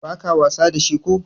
ba ka wasa da shi ko?